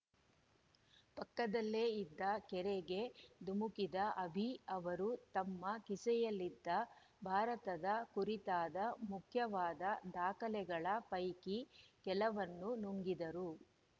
ಪಕ್ಕದಲ್ಲೇ ಇದ್ದ ಕೆರೆಗೆ ಧುಮುಕಿದ ಅಭಿ ಅವರು ತಮ್ಮ ಕಿಸೆಯಲ್ಲಿದ್ದ ಭಾರತದ ಕುರಿತಾದ ಮುಖ್ಯವಾದ ದಾಖಲೆಗಳ ಪೈಕಿ ಕೆಲವನ್ನು ನುಂಗಿದರು